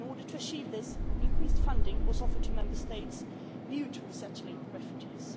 In order to achieve this, increased funding was offered to Member States new to resettling refugees.